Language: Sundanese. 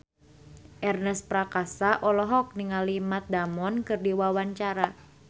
Ernest Prakasa olohok ningali Matt Damon keur diwawancara